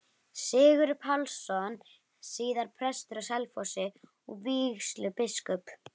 Sigurður Pálsson, síðar prestur á Selfossi og vígslubiskup.